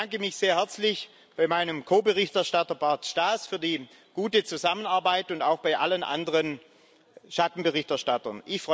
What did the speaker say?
Ich bedanke mich sehr herzlich bei meinem Ko Berichterstatter, Bart Staes, für die gute Zusammenarbeit und auch bei allen anderen Schattenberichterstattern.